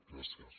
gràcies